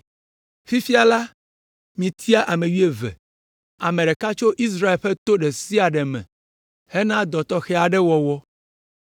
“Fifia la, mitia ame wuieve, ame ɖeka tso Israel ƒe to ɖe sia ɖe me hena dɔ tɔxɛ aɖe wɔwɔ.